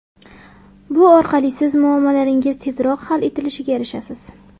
Bu orqali siz muammolaringiz tezroq hal etilishiga erishasiz.